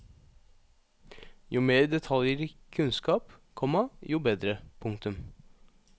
Jo mer detaljrik kunnskap, komma jo bedre. punktum